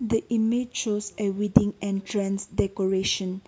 the image shows a wedding entrance decoration.